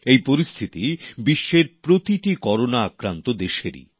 এই পরিস্থিতি বিশ্বের প্রতিটি করোনা আক্রান্ত দেশেরই